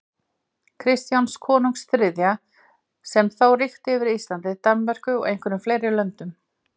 Kristjáns konungs þriðja, sem þá ríkti yfir Íslandi, Danmörku og einhverjum fleiri löndum.